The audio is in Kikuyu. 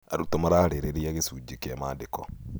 Arutwo mararĩrĩria gĩcunjĩ kĩa maandĩko.